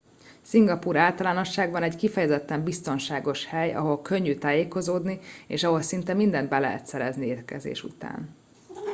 szingapúr általánosságban egy kifejezetten biztonságos hely ahol könnyű tájékozódni és ahol szinte mindent be lehet szerezni érkezés után